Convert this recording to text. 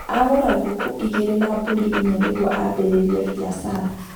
agũra ngũkũ igĩrĩ na mbũri inya nĩguo ambĩrĩrie biacara